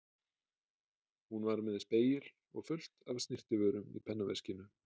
Hún var með spegil og fullt af snyrtivörum í pennaveskinu.